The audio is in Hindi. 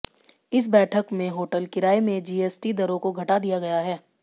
इस बैठक में होटल किराये में जीएसटी दरों को घटा दिया गया है